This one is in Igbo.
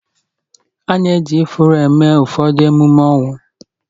A na-eji ifuru eme ụfọdụ ememe ọnwụ